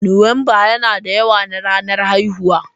Nuwamba yana da yawa na ranar haihuwa.